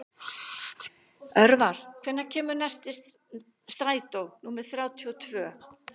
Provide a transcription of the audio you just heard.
Örvar, hvenær kemur strætó númer þrjátíu og tvö?